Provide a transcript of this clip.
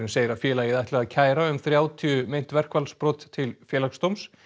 segir að félagið ætli að kæra um þrjátíu meint verkfallsbrot til Félagsdóms